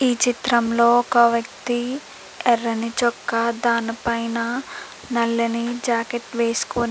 ఈ చిత్రంలోని ఒక వ్యక్తి ఎర్రని చొక్కా దాని పైన నల్లని జాకెట్టు వేసుకొని --